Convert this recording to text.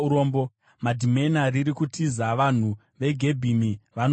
Madhimena riri kutiza; vanhu veGebhimi vanovanda.